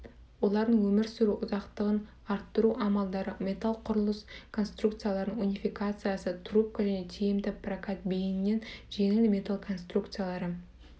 олардың өмір сүруі ұзақтығын арттыру амалдары металлдан құрылыс конструкцияларының унификациясы трубка және тиімді прокат бейінінен жеңіл металл конструкциялары